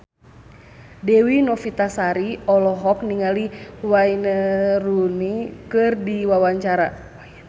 Dewi Novitasari olohok ningali Wayne Rooney keur diwawancara